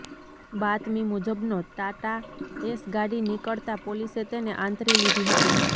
બાતમી મુજબનો ટાટા એસ ગાડી નિકળતા પોલીસે તેને આંતરી લીધી હતી